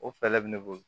O fɛlɛ bɛ ne bolo